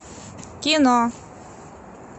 кино